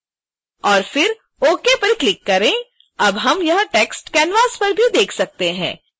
और फिर ok पर क्लिक करें अब हम यह टेक्स्ट canvasपर भी देख सकते हैं